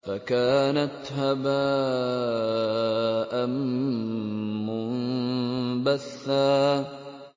فَكَانَتْ هَبَاءً مُّنبَثًّا